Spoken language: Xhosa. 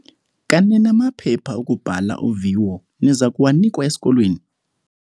Kanene amaphepha okubhala uviwo niza kuwanikwa esikolweni?